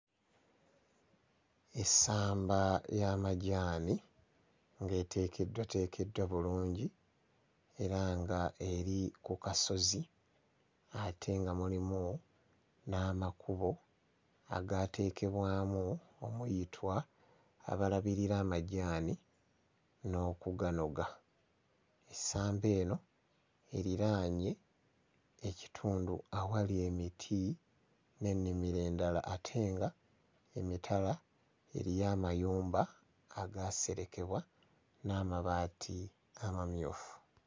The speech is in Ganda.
Essamba ly'amajjaani ng'eteekeddwateekeddwa bulungi era nga eri ku kasozi ate nga mulimu n'amakubo agaateekebwamu omuyitwa abalabirira amajjaani n'okuganoga. Essamba eno eriraanye ekitundu awali emiti n'ennimiro endala ate nga emitala eriyo amayumba agaaserekebwa n'amabaati amamyufu.